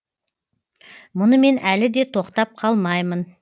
мұнымен әлі де тоқтап қалмаймын